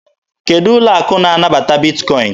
Kedụ ụlọ akụ na-anabata Bitkọin?